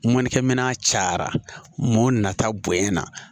Mɔnnikɛ minɛn cayara mɔta bonya na